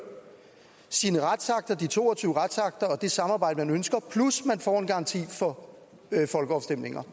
de to og tyve retsakter og det samarbejde man ønsker plus at man får en garanti for folkeafstemninger